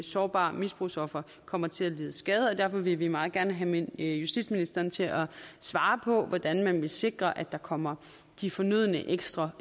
sårbare misbrugsofre kommer til at lide skade og derfor vil vi meget gerne have justitsministeren til at svare på hvordan man vil sikre at der kommer de fornødne ekstra